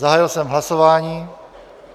Zahájil jsem hlasování.